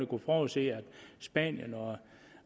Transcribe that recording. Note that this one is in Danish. kunne forudse at spanien